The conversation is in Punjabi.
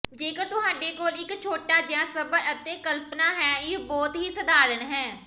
ਜੇਕਰ ਤੁਹਾਡੇ ਕੋਲ ਇੱਕ ਛੋਟਾ ਜਿਹਾ ਸਬਰ ਅਤੇ ਕਲਪਨਾ ਹੈ ਇਹ ਬਹੁਤ ਹੀ ਸਧਾਰਨ ਹੈ